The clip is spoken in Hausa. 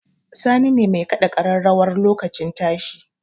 Sani ne mai kaɗa ƙararrawar lokacin tashi